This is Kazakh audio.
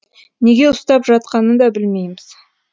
неге ұстап жатқанын да білмейміз